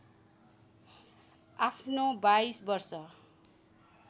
आफ्नो २२ वर्ष